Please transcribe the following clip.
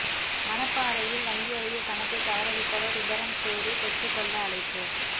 மணப்பாறையில் வங்கி அருகே பணத்தை தவற விட்டவர் விபரம் கூறி பெற்றுக்கொள்ள அழைப்பு